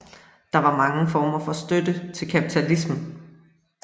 Der var mange former for støtte til kapitalismen